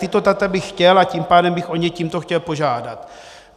Tato data bych chtěl, a tím pádem bych o ně tímto chtěl požádat.